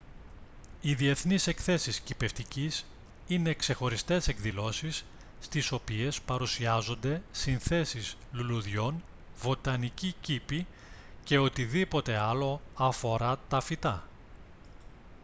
οι διεθνείς εκθέσεις κηπευτικής είναι ξεχωριστές εκδηλώσεις στις οποίες παρουσιάζονται συνθέσεις λουλουδιών βοτανικοί κήποι και οτιδήποτε άλλο αφορά τα φυτά